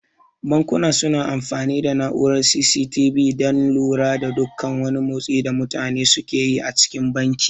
Bankuna su na amfani da na'urar C.C.T.V dan lura da duk wani motsin da mutane suke yi cikin banki